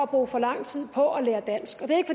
bruger for lang tid på at lære dansk det